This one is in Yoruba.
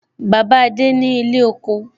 Bàbá adé ni ilé kóko.